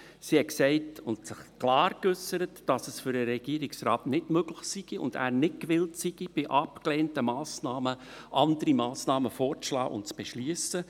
Sie sagte – und sie äusserte sich klar –, dass es für den Regierungsrat nicht möglich und er nicht gewillt sei, bei abgelehnten Massnahmen andere Massnahmen vorzuschlagen und zu beschliessen.